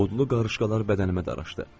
Odlu qarışqalar bədənimə daraşdı.